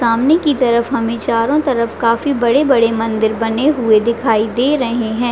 सामने की तरफ हमे चारो तरफ काफी बड़े-बड़े मंदिर बने हुए दिखाई दे रहे है।